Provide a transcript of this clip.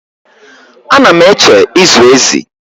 Ana m eche ịzụ ezi